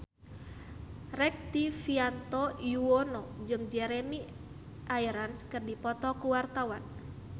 Rektivianto Yoewono jeung Jeremy Irons keur dipoto ku wartawan